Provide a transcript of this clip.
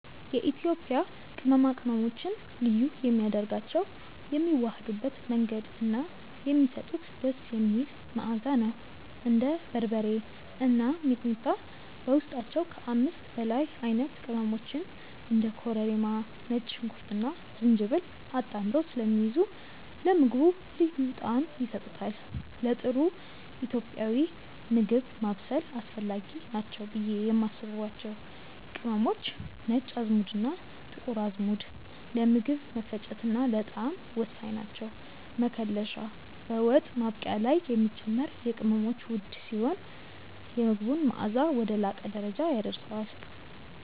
የኢትዮጵያ ቅመማ ቅመሞችን ልዩ የሚያደርጋቸው የሚዋሃዱበት መንገድ እና የሚሰጡት ደስ የሚል መዓዛ ነው። እንደ በርበሬ እና ሚጥሚጣ በውስጣቸው ከ5 በላይ አይነት ቅመሞችን (እንደ ኮረሪማ፣ ነጭ ሽንኩርትና ዝንጅብል) አጣምረው ስለሚይዙ ለምግቡ ልዩ ጣዕም ይሰጡታል። ለጥሩ ኢትዮጵያዊ ምግብ ማብሰል አስፈላጊ ናቸው ብዬ የማስባቸው ቅመሞች፦ ነጭ አዝሙድና ጥቁር አዝሙድ፦ ለምግብ መፈጨትና ለጣዕም ወሳኝ ናቸው። መከለሻ፦ በወጥ ማብቂያ ላይ የሚጨመር የቅመሞች ውህድ ሲሆን፣ የምግቡን መዓዛ ወደ ላቀ ደረጃ ያደርሰዋል።